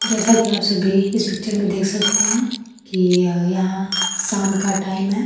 जैसा कि आप सभी इस पिक्चर में देख सकते हैं कि यह यहां साम का टाइम है।